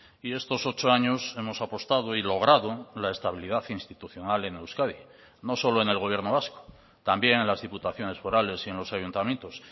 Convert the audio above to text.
y estos ocho años hemos apostado y logrado la estabilidad institucional en euskadi no solo en el gobierno vasco también en las diputaciones forales y en los ayuntamientos